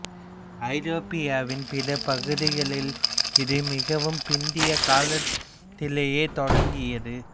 ஐரோப்பாவின் பிற பகுதிகளில் இது மிகவும் பிந்திய காலத்திலேயே தொடங்கியது